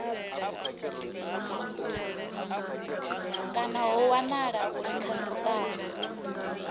kana ho wanala uri khasitama